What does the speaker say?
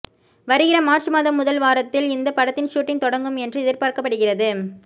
வருகிற மார்ச் மாதம் முதல் வாரத்தில் இந்த படத்தின் ஷூட்டிங் தொடங்கும் என்று எதிர்பார்க்கப்படுகிறது